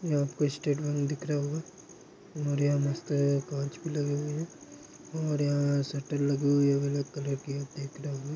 यहाँ पे State Bank दिख रहा होगा और यह कांच भी लगे हुए हैं और यहाँ शटर लगी हुई है अलग कलर की --